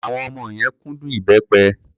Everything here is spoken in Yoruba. Àwọn ọmọ yẹn kúndùn ìbẹ́pẹ.